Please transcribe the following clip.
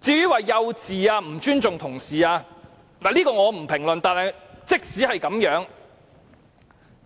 至於行為幼稚和不尊重同事，我不評論這些，但即使他真是這樣，